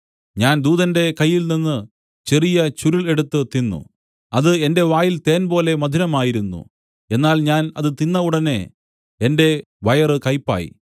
ഞാൻ ദൂതന്റെ കയ്യിൽ നിന്നു ചെറിയ ചുരുൾ എടുത്തു തിന്നു അത് എന്റെ വായിൽ തേൻപോലെ മധുരമായിരുന്നു എന്നാൽ ഞാൻ അത് തിന്ന ഉടനെ എന്റെ വയറു കയ്പായി